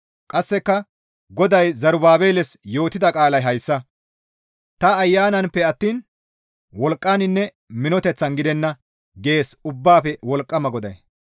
Qasseka, «GODAY Zerubaabeles yootida qaalay hayssa, ‹Ta ayananpe attiin wolqqaninne minoteththan gidenna› gees Ubbaafe Wolqqama GODAY.